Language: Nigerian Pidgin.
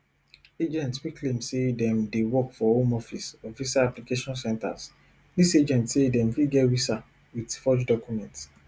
agents wey claim say dem dey work for home office or visa application centres dis agents say dem fit get visa wit forged documents